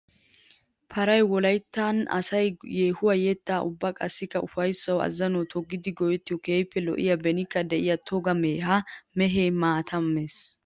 Paray wolayttan asay yeehuwawu yettawu ubba qassikka ufayssawu azannuwa toggiddi go'ettiyo keehippe lo'iya benikka de'iya toga mehe. Ha mehe maata mees.